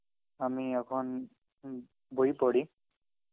আমি এখন উম বই পড়ি.